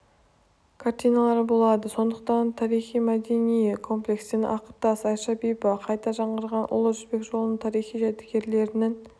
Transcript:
картиналары болады қонақтар тарихи-мәдени комплекстен ақыртас айша бибі қайта жаңғырған ұлы жібек жолының тарихи жәдігерлерінің